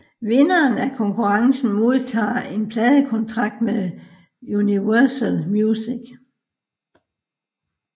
Vinderen af konkurrencen modtager en pladekontrakt med Universal Music